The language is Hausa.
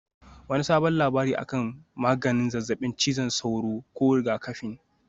Wani sabon labari akan maganin zazzabin cizon sauro ko rigakafin?